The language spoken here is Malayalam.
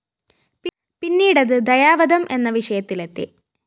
പിന്നീട് അത് ദയാവധം എന്ന വിഷയത്തിലെത്തി